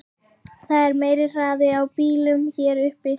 Það er meiri hraði á bílunum hér uppi.